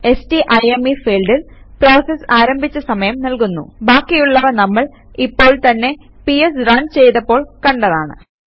സ്റ്റൈം field process ആരംഭിച്ച സമയം നൽകുന്നു ബാക്കിയുള്ളവ നമ്മൾ ഇപ്പോൾ തന്നെ പിഎസ് റൺ ചെയ്തപ്പോൾ കണ്ടതാണ്